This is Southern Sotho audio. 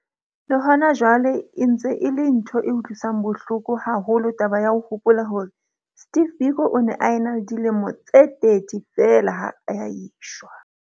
Le hona jwale e ntse e le ntho e utlwisang bohloko haholo taba ya ho hopola hore Steve Biko o ne a ena le dilemo tse 30 feela ha a eshwa.